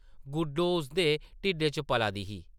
गुड्डो उसदे ढिड्डा च पला दी ही ।